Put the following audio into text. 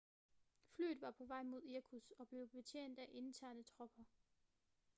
flyet var på vej mod irkutsk og blev betjent af interne tropper